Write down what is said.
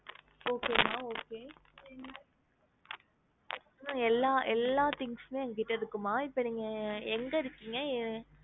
Okay மா okay எல்லா எல்லா things மே எங்க கிட்ட இருக்கும்மா இப்போ நீங்க எங்க இருக்கீங்க